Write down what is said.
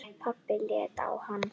Pabbi leit á hann.